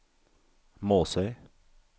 Måsøy